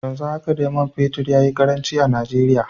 Yanzu haka dai man fetur ya yi karanci a Najeriya.